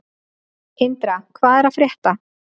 Indra, hvað er að frétta?